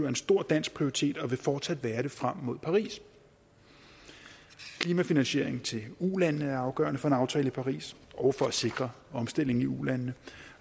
en stor dansk prioritet og vil fortsat være det frem mod paris klimafinansiering til ulandene er afgørende for en aftale i paris og for at sikre omstillingen i ulandene